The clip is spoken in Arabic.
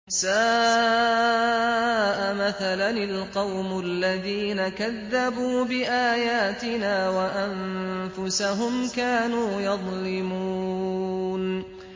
سَاءَ مَثَلًا الْقَوْمُ الَّذِينَ كَذَّبُوا بِآيَاتِنَا وَأَنفُسَهُمْ كَانُوا يَظْلِمُونَ